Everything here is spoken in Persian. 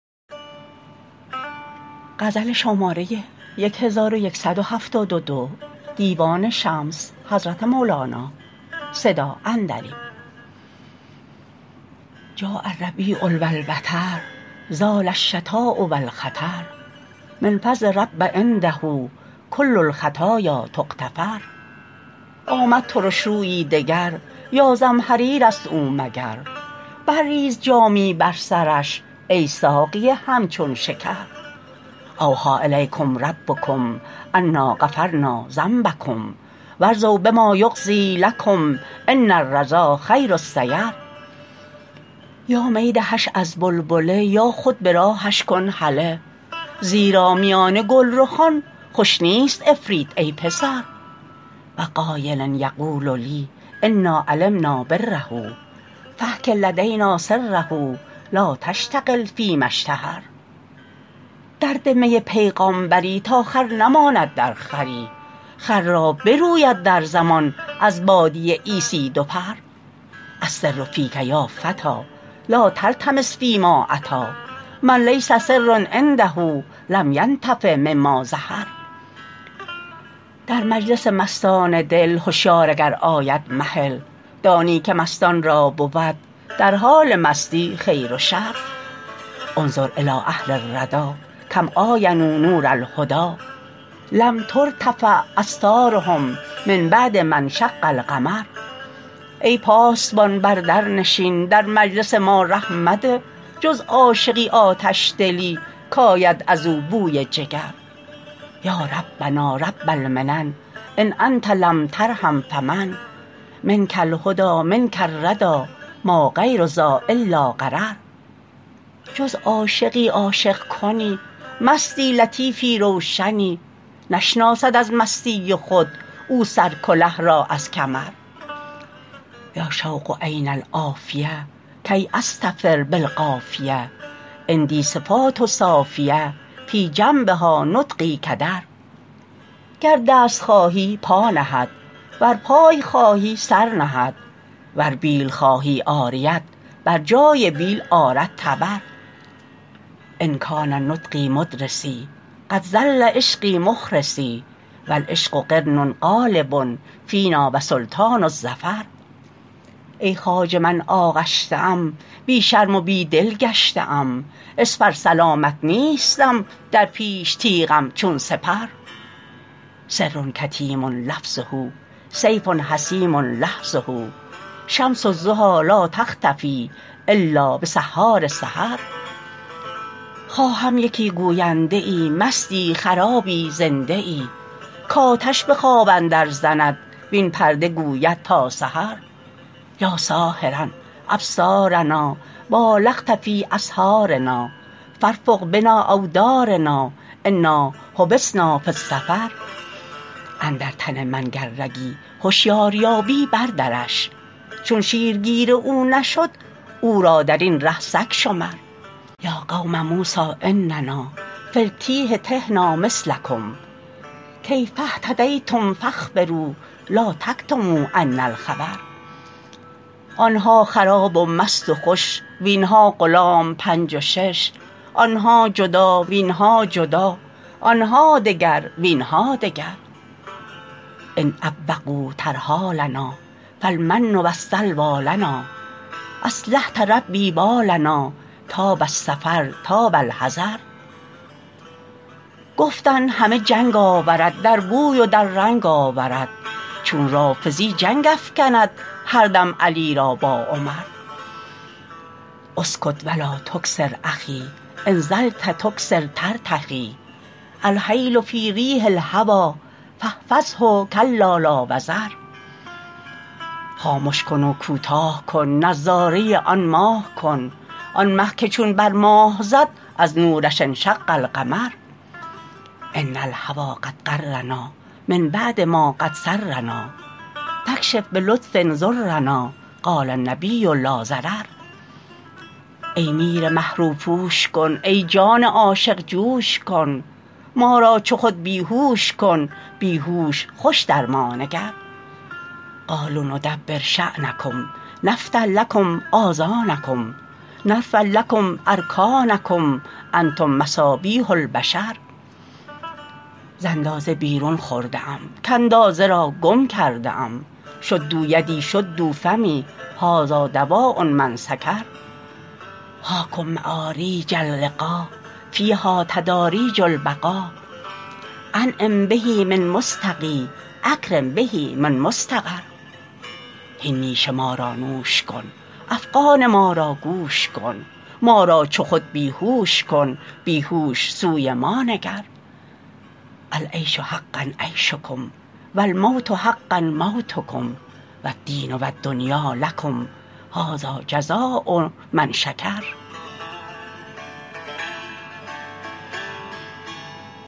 جاء الربیع و البطر زال الشتاء و الخطر من فضل رب عنده کل الخطایا تغتفر آمد ترش رویی دگر یا زمهریرست او مگر برریز جامی بر سرش ای ساقی همچون شکر اوحی الیکم ربکم انا غفرنا ذنبکم و ارضوا بما یقضی لکم ان الرضا خیر السیر یا می دهش از بلبله یا خود به راهش کن هله زیرا میان گلرخان خوش نیست عفریت ای پسر و قایل یقول لی انا علمنا بره فاحک لدینا سره لا تشتغل فیما اشتهر درده می بیغامبری تا خر نماند در خری خر را بروید در زمان از باده عیسی دو پر السر فیک یا فتی لا تلتمس فیما اتی من لیس سر عنده لم ینتفع مما ظهر در مجلس مستان دل هشیار اگر آید مهل دانی که مستان را بود در حال مستی خیر و شر انظر الی اهل الردی کم عاینوا نور الهدی لم ترتفع استارهم من بعد ما انشق القمر ای پاسبان بر در نشین در مجلس ما ره مده جز عاشقی آتش دلی کید از او بوی جگر یا ربنا رب المنن ان انت لم ترحم فمن منک الهدی منک الردی ما غیر ذا الا غرر جز عاشقی عاشق کنی مستی لطیفی روشنی نشناسد از مستی خود او سرکله را از کمر یا شوق این العافیه کی اضطفر بالقافیه عندی صفات صافیه فی جنبها نطقی کدر گر دست خواهی پا نهد ور پای خواهی سر نهد ور بیل خواهی عاریت بر جای بیل آرد تبر ان کان نطقی مدرسی قد ظل عشقی مخرسی و العشق قرن غالب فینا و سلطان الظفر ای خواجه من آغشته ام بی شرم و بی دل گشته ام اسپر سلامت نیستم در پیش تیغم چون سپر سر کتیم لفظه سیف حسیم لحظه شمس الضحی لا تختفی الا بسحار سحر خواهم یکی گوینده ای مستی خرابی زنده ای کآتش به خواب اندرزند وین پرده گوید تا سحر یا ساحراء ابصارنا بالغت فی اسحارنا فارفق بنا اودارنا انا حبسنا فی السفر اندر تن من گر رگی هشیار یابی بردرش چون شیرگیر او نشد او را در این ره سگ شمر یا قوم موسی اننا فی التیه تهنا مثلکم کیف اهتدیتم فاخبروا لا تکتموا عنا الخبر آن ها خراب و مست و خوش وین ها غلام پنج و شش آن ها جدا وین ها جدا آن ها دگر وین ها دگر ان عوقوا ترحالنا فالمن و السلوی لنا اصلحت ربی بالنا طاب السفر طاب الحضر گفتن همه جنگ آورد در بوی و در رنگ آورد چون رافضی جنگ افکند هر دم علی را با عمر اسکت و لا تکثر اخی ان طلت تکثر ترتخی الحیل فی ریح الهوی فاحفظه کلا لا وزر خامش کن و کوتاه کن نظاره آن ماه کن آن مه که چون بر ماه زد از نورش انشق القمر ان الهوی قد غرنا من بعد ما قد سرنا فاکشف به لطف ضرنا قال النبی لا ضرر ای میر مه روپوش کن ای جان عاشق جوش کن ما را چو خود بی هوش کن بی هوش خوش در ما نگر قالوا ندبر شأنکم نفتح لکم آذانکم نرفع لکم ارکانکم انتم مصابیح البشر ز اندازه بیرون خورده ام کاندازه را گم کرده ام شدوا یدی شدوا فمی هذا دواء من سکر هاکم معاریج اللقا فیها تداریج البقا انعم به من مستقی اکرم به من مستقر هین نیش ما را نوش کن افغان ما را گوش کن ما را چو خود بی هوش کن بی هوش سوی ما نگر العیش حقا عیشکم و الموت حقا موتکم و الدین و الدنیا لکم هذا جزاء من شکر